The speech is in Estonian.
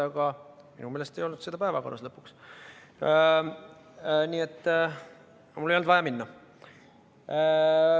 Aga minu meelest ei olnud seda päevakorras, nii et mul ei olnud vaja kohale minna.